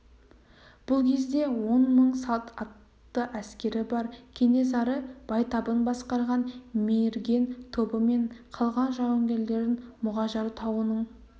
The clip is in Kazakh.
бұл кезде он мың салт атты әскері бар кенесары байтабын басқарған мерген тобы мен қалған жауынгерлерін мұғажар тауының